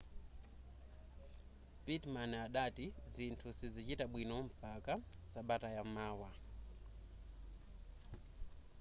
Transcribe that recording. pittman adati zinthu sizichita bwino mpaka sabata yamawa